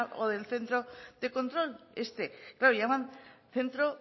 o del centro de control este claro llaman centro